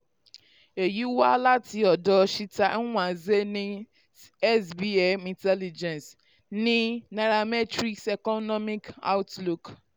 èyí wá láti ọ̀dọ cheta nwanze ní sbm intelligence ní nairametrics economic outlook.